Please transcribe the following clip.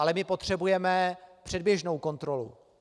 Ale my potřebujeme předběžnou kontrolu.